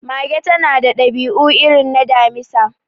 Mage ta na da dabi'u irin na Damisa